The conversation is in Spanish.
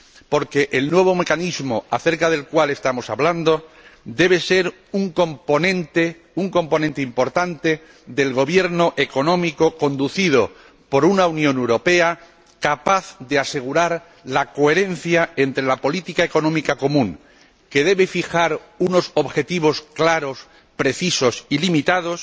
Porque el nuevo mecanismo acerca del cual estamos hablando debe ser un componente importante del gobierno económico, conducido por una Unión Europea capaz de asegurar la coherencia entre la política económica común, que debe fijar unos objetivos claros, precisos y limitados,